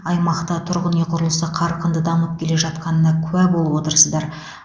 аймақта тұрғын үй құрылысы қарқынды дамып келе жатқанына куә болып отырсыздар